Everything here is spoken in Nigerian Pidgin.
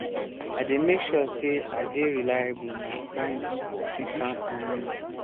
i dey make sure sey i dey reliable my friends fit count on me.